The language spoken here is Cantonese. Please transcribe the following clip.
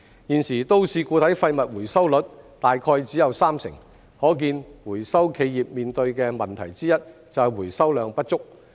現時都市固體廢物回收率大約只有三成，可見回收企業面對的問題之一就是回收量不足。